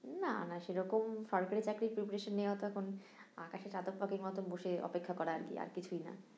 না না সেরকম সরকারি চাকরির preparation নেয়া তো এখন আকাশে চাতক পাখির মতো বসে অপেক্ষা করা আর কি, আর কিছুই না